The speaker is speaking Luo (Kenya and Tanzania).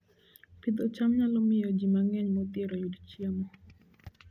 Pidho cham nyalo miyo ji mang'eny modhier oyud chiemo